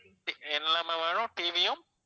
என்னலாம் ma'am வேணும் TV யும்